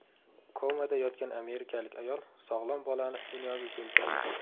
Komada yotgan amerikalik ayol sog‘lom bolani dunyoga keltirdi.